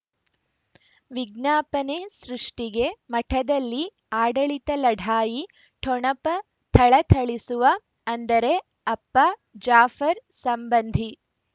ವಿಜ್ಞಾಪನೆ ಸೃಷ್ಟಿಗೆ ಮಠದಲ್ಲಿ ಆಡಳಿತ ಲಢಾಯಿ ಠೊಣಪ ಥಳಥಳಿಸುವ ಅಂದರೆ ಅಪ್ಪ ಜಾಫರ್ ಸಂಬಂಧಿ